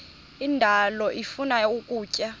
indalo ifuna ukutya